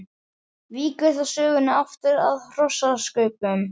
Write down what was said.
Víkur þá sögunni aftur að hrossakaupum.